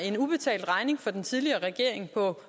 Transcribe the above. en ubetalt regning fra den tidligere regering på